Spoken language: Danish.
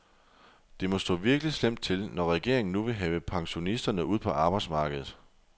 Det må stå virkelig slemt til, når regeringen nu vil have pensionisterne ud på arbejdsmarkedet.